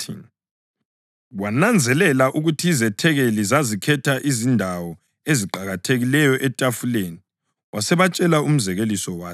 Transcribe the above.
Wananzelela ukuthi izethekeli zazikhetha izindawo eziqakathekileyo etafuleni wasebatshela umzekeliso wathi: